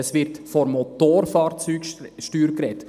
– Es wird von der Motorfahrzeugsteuer gesprochen.